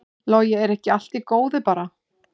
Logi: Er ekki allt í góðu bara?